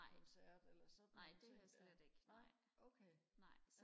nej nej det har jeg slet ikke nej nej